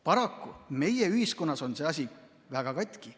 Paraku on meie ühiskonnas see asi väga katki.